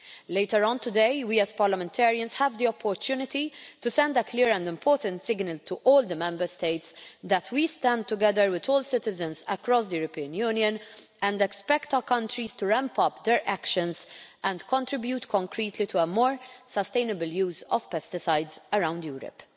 work. Later on today, we as parliamentarians have the opportunity to send a clear and important signal to all the Member States, that we stand together with all citizens across the European Union and expect our countries to ramp up their actions and contribute concretely to a more sustainable use of pesticides around Europe.